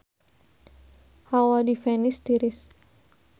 Hawa di Venice tiris